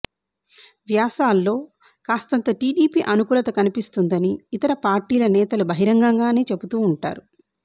వ్యాసాల్లో కాస్తంత టీడీపీ అనుకూలత కనిపిస్తుందని ఇతర పార్టీల నేతలు బహిరంగంగానే చెబుతూ ఉంటారు